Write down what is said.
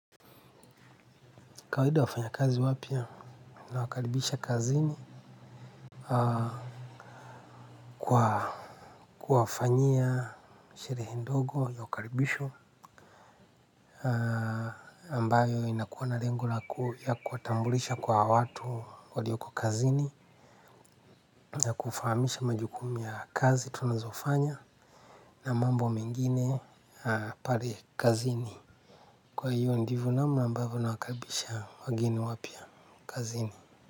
Kawaida wafanyakazi wapya nawakaribisha kazini kwa kuwafanyia sherehe ndogo ya ukaribisho ambayo inakuwa na lengo la ku ya kuwatambulisha kwa watu walioko kazini ya kufahamisha majukumu ya kazi tunazofanya na mambo mengine pale kazini kwa hiyo ndivo namna ambavo nawakaribisha wageni wapya kazini.